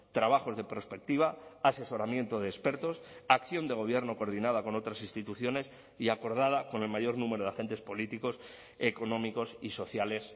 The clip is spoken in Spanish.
trabajos de prospectiva asesoramiento de expertos acción de gobierno coordinada con otras instituciones y acordada con el mayor número de agentes políticos económicos y sociales